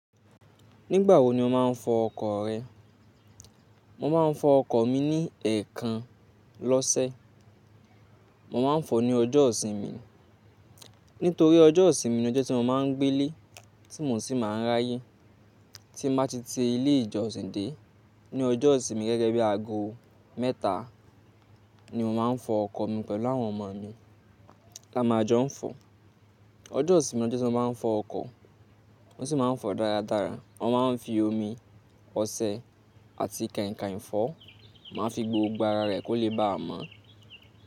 Nígbà wo ni o máa ń fọ ọkọ̀ rẹ? Mo máa ń fọ ọkọ̀ mi ní èèkàn lọ́sẹ̀. Mo máa ń fọ ní ọjọ́ ìsinmi, nítorí ọjọ́ ìsinmi ni ọjọ́ tí mo máa ń gbé lé, tí mo sì máa ń ráyè. Tí mo bá ti ti ilé ìjọsìn dé ní ọjọ́ ìsinmi gẹ́gẹ́ bí aago mẹ́ta ni mo máa ń fọ ọkọ̀ mi pẹ̀lú àwọn ọmọ mi. La máa jọ ń fọ. Ọjọ́ ìsinmi ni ọjọ́ tí wọ́n máa ń fọ ọkọ̀, wọ́n sì máa ń fọ dáradára. Wọ́n máa ń fi omi, ọṣẹ àti kànìkànì fọ, máa ń fi gbogbo ara rẹ̀ kó lè bá a mọ́.